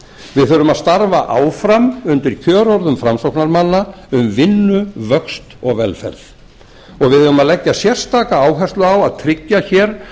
við þurfum að starfa áfram undir kjörorðum framsóknarmanna um vinnu vöxt og velferð og við eigum að leggja sérstaka áherslu á að tryggja hér